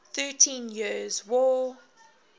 thirteen years war